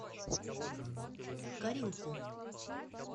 каринку